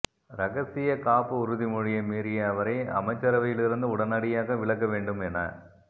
ரகசியக் காப்பு உறுதிமொழியை மீறிய அவரை அமைச்சரவையிலிருந்து உடனடியாக விலக்க வேண்டும் என